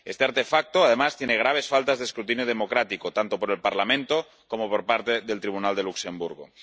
Este artefacto, además, tiene graves faltas de escrutinio democrático tanto por el Parlamento como por parte del Tribunal de Luxemburgo.